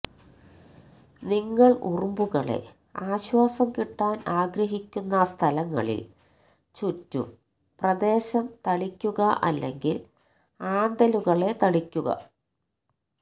നിങ്ങൾ ഉറുമ്പുകളെ ആശ്വാസം കിട്ടാൻ ആഗ്രഹിക്കുന്ന സ്ഥലങ്ങളിൽ ചുറ്റും പ്രദേശം തളിക്കുക അല്ലെങ്കിൽ ആന്തലുകളെ തളിക്കുക